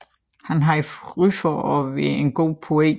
Han havde ry for at være en god poet